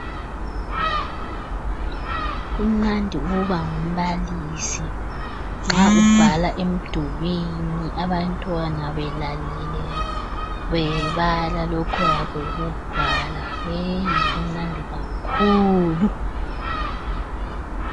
Kumnandi ukuba ngumbalisi nxa ubhala emdulini abantwana belalele bebala lokhu oyabe ukubhala yeyi kumnandi kakhulu.